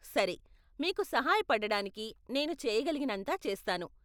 సరే, మీకు సహాయ పడడానికి నేను చేయగలిగినంతా చేస్తాను.